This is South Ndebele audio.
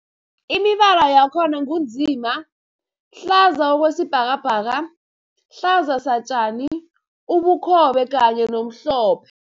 Imibala yakhona ngu nzima, hlaza okwesibhakabhaka, hlaza satjani, ubukhobe kanye nomhlophe.